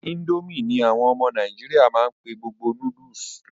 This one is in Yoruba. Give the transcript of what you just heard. Ińdómì ní àwọn ọmọ nàìjíríà máa n pé gbogbo noodles.